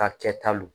Ka kɛ talo